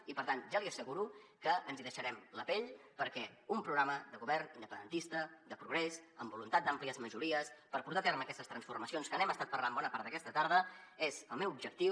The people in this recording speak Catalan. i per tant ja li asseguro que ens hi deixarem la pell perquè un programa de govern independentista de progrés amb voluntat d’àmplies majories per portar a terme aquestes transformacions que n’hem estat parlant bona part d’aquesta tarda és el meu objectiu